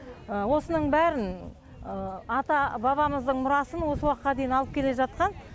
осының бәрін ата бабамыздың мұрасын осы уақытқа дейін алып келе жатқан